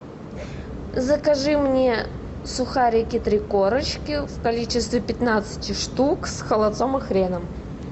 закажи мне сухарики три корочки в количестве пятнадцати штук с холодцом и хреном